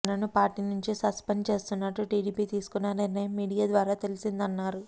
తనను పార్టీ నుంచి సస్పెండ్ చేస్తున్నట్టు టీడీపీ తీసుకున్న నిర్ణయం మీడియా ద్వారా తెలిసిందన్నారు